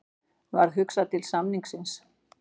Varð hugsað til samningsins.